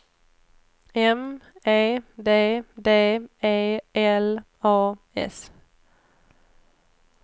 M E D D E L A S